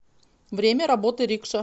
время работы рикша